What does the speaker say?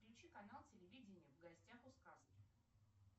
включи канал телевидения в гостях у сказки